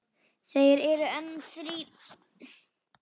Þeir eru enn þá þrír.